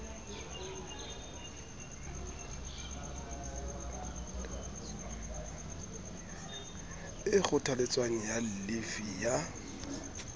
e kgothaletswang ya llifi ya